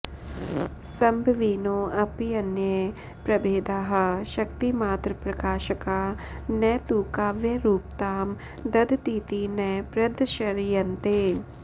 संभविनोऽप्यन्ये प्रभेदाः शक्तिमात्रप्रकाशका न तु काव्यरूपतां दधतीति न प्रदर्श्यन्ते